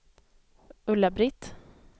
Ulla-Britt